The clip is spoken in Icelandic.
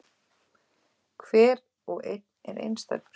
Hver og einn er einstakur.